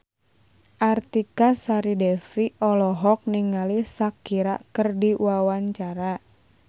Artika Sari Devi olohok ningali Shakira keur diwawancara